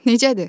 Necədir?